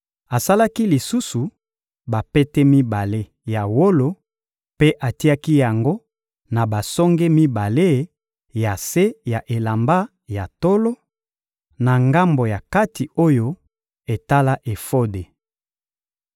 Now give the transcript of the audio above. Asalaki lisusu bapete mibale ya wolo mpe atiaki yango na basonge mibale ya se ya elamba ya tolo, na ngambo ya kati oyo etala efode.